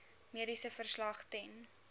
mediese verslag ten